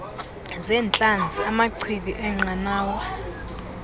zeentlanzi amachibi eenqanawa